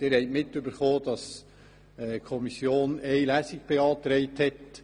Sie haben mitbekommen, dass die Kommission eine Lesung beantragt hat.